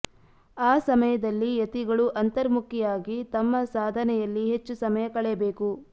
ಆ ಸಮಯದಲ್ಲಿ ಯತಿಗಳು ಅಂತರ್ಮುಖಿಯಾಗಿ ತಮ್ಮ ಸಾಧನೆಯಲ್ಲಿ ಹೆಚ್ಚು ಸಮಯ ಕಳೆಯಬೇಕು